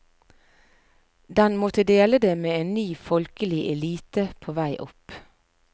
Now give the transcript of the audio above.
Den måtte dele det med en ny folkelig elite på vei opp.